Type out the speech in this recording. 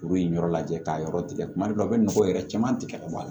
Kuru in yɔrɔ lajɛ k'a yɔrɔ tigɛ tuma dɔw a bɛ nɔgɔ yɛrɛ caman tigɛ ka bɔ a la